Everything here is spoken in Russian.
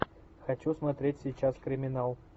хочу смотреть сейчас криминал